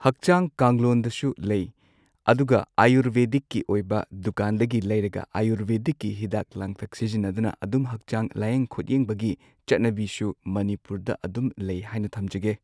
ꯍꯛꯆꯥꯡ ꯀꯥꯡꯂꯣꯟꯗꯁꯨ ꯂꯩ ꯑꯗꯨꯒ ꯑꯌꯨꯔꯕꯦꯗꯤꯛꯀꯤ ꯑꯣꯏꯕ ꯗꯨꯀꯥꯟꯗꯒꯤ ꯂꯩꯔꯒ ꯑꯌꯨꯔꯕꯦꯗꯤꯛꯀꯤ ꯍꯤꯗꯥꯛ ꯂꯥꯡꯊꯛ ꯁꯤꯖꯤꯟꯅꯗꯨꯅ ꯑꯗꯨꯝ ꯍꯛꯆꯥꯡ ꯂꯥꯌꯦꯡ ꯈꯣꯠꯌꯦꯡꯕꯒꯤ ꯆꯠꯅꯕꯤꯁꯨ ꯃꯅꯤꯄꯨꯔꯗ ꯑꯗꯨꯝ ꯂꯩ ꯍꯥꯏꯅ ꯊꯝꯖꯒꯦ꯫